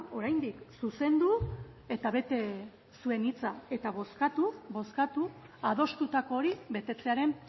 oraindik zuzendu eta bete zuen hitza eta bozkatu bozkatu adostutako hori betetzearen